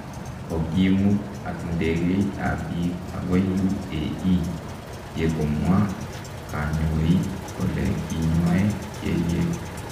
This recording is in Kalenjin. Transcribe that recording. Kokimuut ak ndegeit ab biik agoi UAE yekomwa kanyoi kole kinyoe kelyek